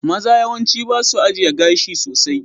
Maza yawanci ba su ajiye gashi sosai.